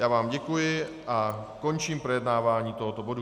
Já vám děkuji a končím projednávání tohoto bodu.